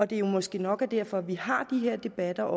det måske nok er derfor vi har de her debatter